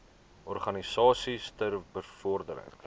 organisasies ter bevordering